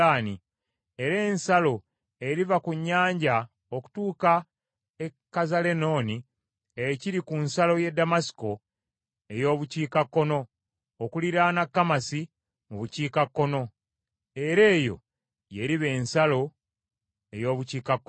Era ensalo eriva ku nnyanja okutuuka e Kazalenooni ekiri ku nsalo y’e Ddamasiko ey’Obukiikakkono, okuliraana Kamasi mu Bukiikakkono. Era eyo y’eriba ensalo ey’Obukiikakkono.